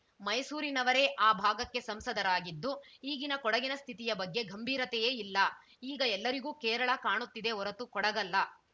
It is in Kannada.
ಮೈಸೂರಿನವರೇ ಆ ಭಾಗಕ್ಕೆ ಸಂಸದರಾಗಿದ್ದು ಈಗಿನ ಕೊಡಗಿನ ಸ್ಥಿತಿಯ ಬಗ್ಗೆ ಗಂಭೀರತೆಯೇ ಇಲ್ಲ ಈಗ ಎಲ್ಲರಿಗೂ ಕೇರಳ ಕಾಣುತ್ತಿದೆ ಹೊರತು ಕೊಡಗಲ್ಲ